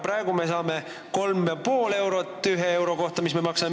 Praegu me saame 3,5 eurot ühe euro kohta, mis me maksame ...